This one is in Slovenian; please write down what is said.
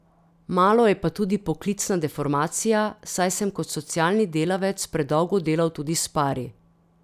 Malo je pa tudi poklicna deformacija, saj sem kot socialni delavec predolgo delal tudi s pari.